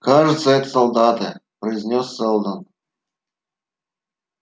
кажется это солдаты произнёс сэлдон